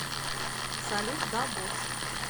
салют да босс